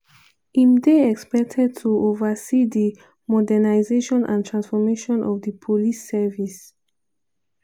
im dey expected to oversee di modernisation and transformation of di police service."